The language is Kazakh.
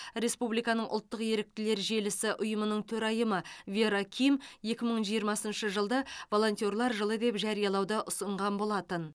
республиканың ұлттық еріктілер желісі ұйымының төрайымы вера ким екі мың жиырмасыншы жылды волентерлер жылы деп жариялауды ұсынған болатын